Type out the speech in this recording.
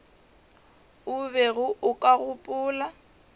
o bego o ka gopola